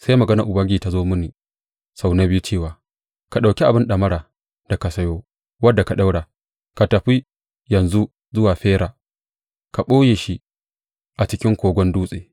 Sai maganar Ubangiji ta zo mini sau na biyu cewa, Ka ɗauki abin ɗamara da ka sayo, wanda ka ɗaura, ka tafi yanzu zuwa Fera ka ɓoye shi a cikin kogon dutse.